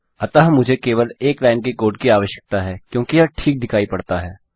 अतः मुझे केवल एक लाइन के कोड की आवश्यकता है क्योंकि यह ठीक दिखाई पड़ता हैं